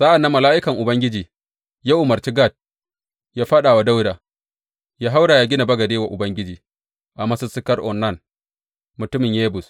Sa’an nan mala’ikan Ubangiji ya umarci Gad yă faɗa wa Dawuda yă haura yă gina bagade wa Ubangiji a masussukar Ornan mutumin Yebus.